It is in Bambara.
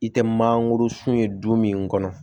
I tɛ mangoro sun ye du min kɔnɔ